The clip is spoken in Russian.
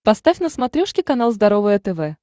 поставь на смотрешке канал здоровое тв